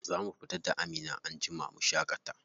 Za mu fita da Amina anjima mu shaƙata.